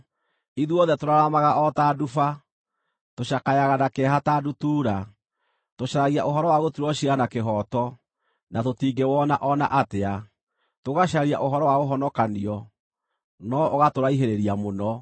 Ithuothe tũraramaga o ta nduba; tũcakayaga na kĩeha ta ndutura. Tũcaragia ũhoro wa gũtuĩrwo ciira na kĩhooto, na tũtingĩwona o na atĩa; tũgacaria ũhoro wa ũhonokanio, no ũgatũraihĩrĩria mũno.